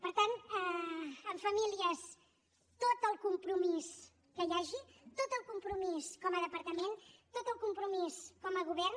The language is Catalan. per tant en famílies tot el compromís que hi hagi tot el compromís com a departament tot el compromís com a govern